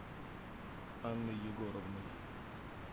анной егоровной